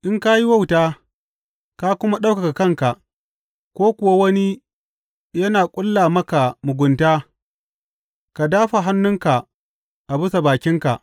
In ka yi wauta ka kuma ɗaukaka kanka, ko kuwa wani yana ƙulla maka mugunta, ka dāfa hannunka a bisa bakinka!